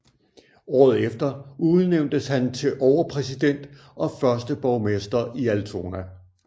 Året efter udnævntes han til overpræsident og første borgmester i Altona